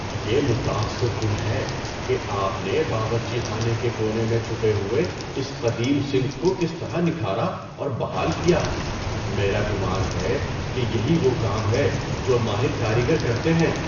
یہ متاثر کن ہے کہ آپ نے باورچی خانے کے کونے میں چھپے ہوئے اس قدیم سنک کو کس طرح نکھارا اور بحال کیا۔ میرا گمان ہے کہ یہی وہ کام ہے جو ماہر کاریگر کرتے ہیں۔